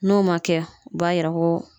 N'o ma kɛ , u b'a yira ko